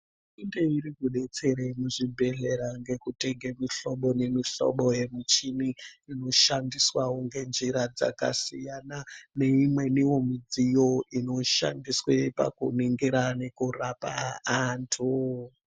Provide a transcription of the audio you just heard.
Hurumende iri kubetsere muzvibhedhlera ngekutenge muhlobo nemihlobo yemichini. Inoshandiswavo ngenjira dzakasiyana neimwenivo midziyo inoshandiswe pakuningira nekurapa antu.